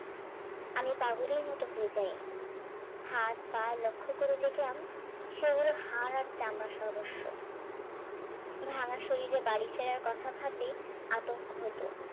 আমি পাগলের মতো হয়ে যাই হাত পা লক্ষ করে দেখলাম শরীরে হার আর চামড়া সর্বস্ব ভাঙা শরীরে বাড়ি ফেরার কথা ভাবলে আতঙ্ক হতো